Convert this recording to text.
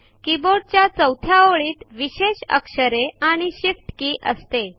कीबोर्डच्या चौथ्या ओळीत विशेष अक्षरे आणि shift के असते